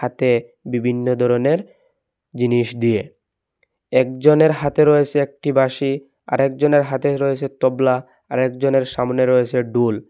হাতে বিভিন্ন ধরণের জিনিস দিয়ে একজনের হাতে রয়েছে একটি বাঁশি আরেকজনের হাতে রয়েছে তবলা আর একজনের সামনে রয়েছে ডূল ।